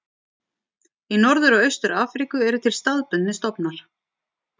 Í Norður og Austur-Afríku eru til staðbundnir stofnar.